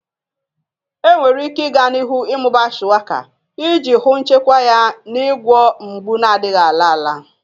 Enwere ike i ga n'ihu ịmụba Shuwaka iji hụ nchekwa ya n'ịgwọ mgbu na-adịghị ala ala.